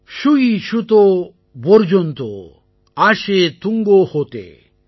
ஷுயி ஷுதோ பொர்ஜொந்தோ ஆஷே துங்கோ ஹோதே